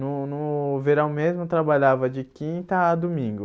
No no verão mesmo, eu trabalhava de quinta a domingo.